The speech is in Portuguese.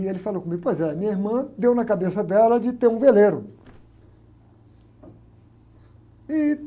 E ele falou comigo, pois é, minha irmã deu na cabeça dela de ter um veleiro. Ih...